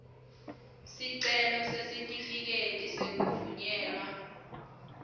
sicelo sesitifiketi sekuvunyelwa